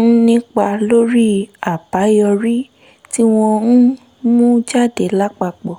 ń nípa lórí àbáyọrí tí wọ́n ń mú jáde lápapọ̀